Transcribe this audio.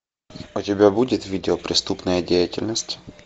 у тебя будет видео преступная деятельность